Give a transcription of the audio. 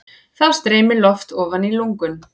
Þá streymir loft ofan í lungun.